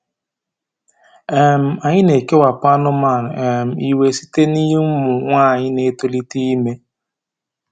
um Anyị na-ekewapụ anụmanụ um iwe site n’ụmụ nwanyị na-etolite ime.